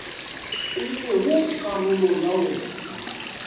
e lego karolo ya wona